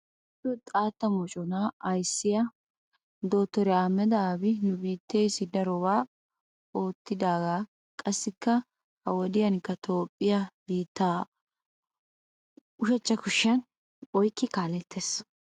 Nu toophphiya xaatta moconaa ayissiya dotoriya ahmeda abi nu biitteessi darobaa oottidaagaa. Qassikka ha wodiyankka toophphiya biittaa ushachcha kushiyan oyikkidi kaalettees.